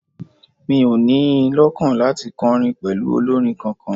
Mi ò ní in lọ́kàn láti kọrin pẹ̀lú olórin kankan